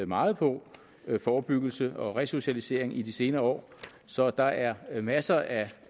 meget på forebyggelse og resocialisering i de senere år så der er masser af